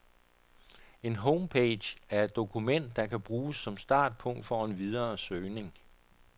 En homepage er et dokument, der bruges som startpunkt for en videre søgning.